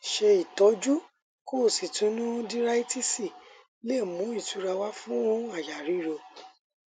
ṣé ìtọjú kositonudíráítíìsì lè mú ìtura wá fú àyà ríro